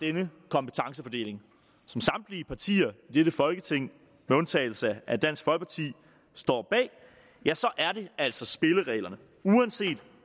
denne kompetencefordeling som samtlige partier i dette folketing med undtagelse af dansk folkeparti står bag ja så er det altså spillereglerne uanset